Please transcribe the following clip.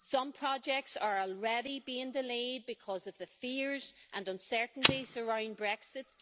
Some projects are already being delayed because of the fears and uncertainties surrounding Brexit.